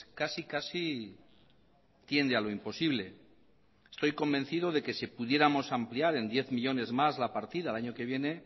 casi casi tiende a lo imposible estoy convencido de que si pudiéramos ampliar en diez millónes más la partida el año que viene